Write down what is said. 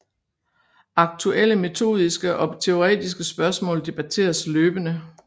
Aktuelle metodiske og teoretiske spørgsmål debatteres løbende